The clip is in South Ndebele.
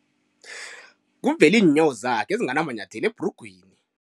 Kuvele iinyawo zakhe ezinganamanyathelo ebhrugwini.